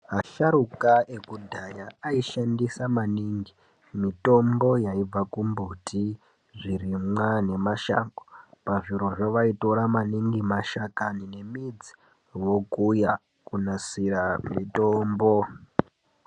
Asharuka ekudhaya ayishandise maningi mitombo yaibva kumbuti zvirimwa nemashango pazvirozvo vaitora maningi mashakani emiti vokuya kunasira mitombo.